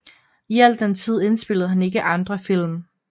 I al den tid indspillede han ikke andre film